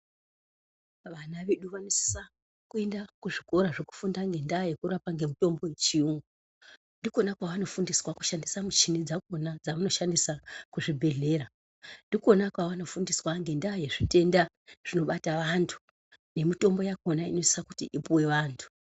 Vana vedu vanosisa kuenda kuzvikora zvekufunda ngendaa yerapa ngemitombo yechiyungu ndikona kwavanofundiswa kushandisa michini dzakona dzavanoshandisa muzvibhedhleya ndikona kwavanofundiswa ngendaa yezvitenda zvinobata antu nemutombo yakona inosisa kuti ipuwe antu.